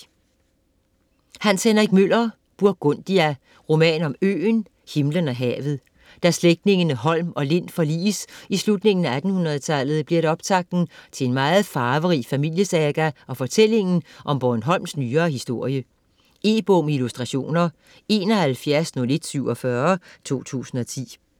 Møller, Hans Henrik: Burgundia: roman om øen, himlen og havet Da slægterne Holm og Lind forliges i slutningen af 1800-tallet bliver det optakten til en meget farverig familiesaga og fortælling om Bornholms nyere historie. E-bog med illustrationer 710147 2010.